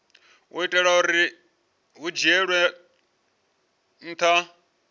itela uri hu dzhielwe nha